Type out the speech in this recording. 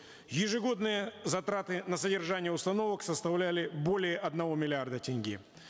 ежегодные затраты на содержание установок составляли более одного миллиарда тенге